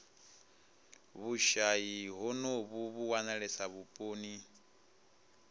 vhushayi honovhu vhu wanalesa vhuponi